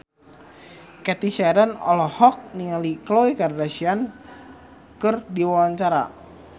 Cathy Sharon olohok ningali Khloe Kardashian keur diwawancara